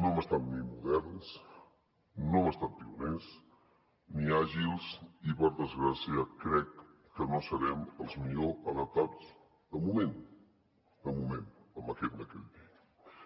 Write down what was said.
no hem estat moderns no hem estat pioners ni àgils i per desgràcia crec que no serem els més ben adaptats de moment de moment amb aquest decret llei